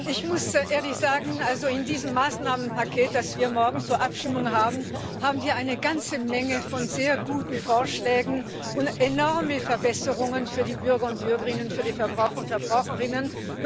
Ich muss ehrlich sagen, in diesem Maßnahmenpaket, das wir morgen zur Abstimmung haben, haben wir eine ganze Menge von sehr guten Vorschlägen und enorme Verbesserungen für die Bürger und Bürgerinnen, für die Verbraucher und Verbraucherinnen.